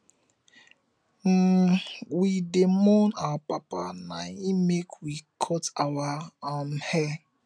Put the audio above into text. um we dey mourn our papa na im make we cut our um hair